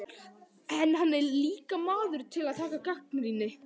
En hann er líka maður til að taka gagnrýni.